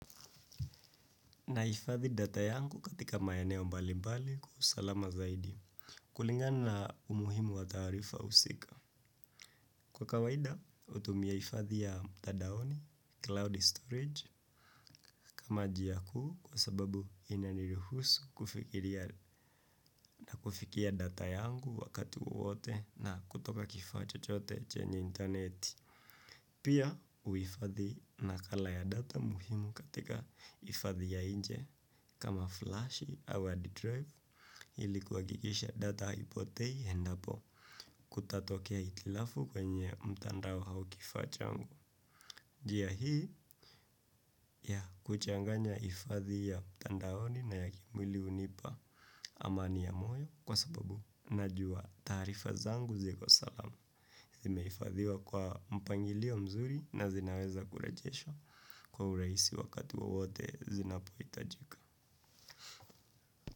Nahifadhi data yangu katika maeneo mbalimbali kwa usalama zaidi. Kulingana na umuhimu wa taarifa usika. Kwa kawaida, utumia ifadhi ya mtadaoni, cloud storage, kama jia kuu kwa sababu inaniruhusu kufikia data yangu wakati wowote na kutoka kifaa chochote chenye interneti. Pia huifadhi nakala ya data muhimu katika ifadhi ya inje kama flash au hard drive ili kuhakikisha data haipotei endapo kutatokea itilafu kwenye mtandao hau kifaa changu. Jia hii ya kuchanganya ifadhi ya mtandaoni na ya kimwili unipa amani ya moyo kwa sababu najua taarifa zangu ziko salama zimeifadhiwa kwa mpangilio mzuri na zinaweza kurejeshwa kwa urahisi wakati wowote zinapoitajika.